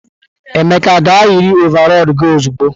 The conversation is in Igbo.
Emeka gaa yiri ọvarọọr gi ozugbo!